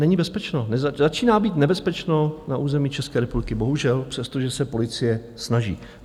Není bezpečno, začíná být nebezpečno na území České republiky, bohužel, přestože se policie snaží.